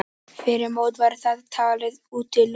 Fyrir mót var það talið útilokað.